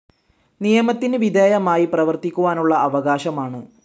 നിയമത്തിന് വിധേയമായി പ്രവർത്തിക്കുവാനുള്ള അവകാശമാണ്.